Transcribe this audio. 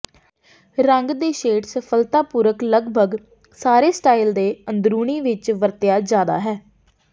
ਰੰਗ ਦੇ ਸ਼ੇਡ ਸਫਲਤਾਪੂਰਕ ਲਗਭਗ ਸਾਰੇ ਸਟਾਈਲ ਦੇ ਅੰਦਰੂਨੀ ਵਿੱਚ ਵਰਤਿਆ ਜਾਦਾ ਹੈ